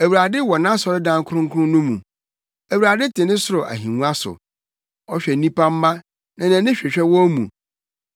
Awurade wɔ nʼasɔredan kronkron no mu; Awurade te ne soro ahengua so. Ɔhwɛ nnipa mma, nʼani hwehwɛ wɔn mu.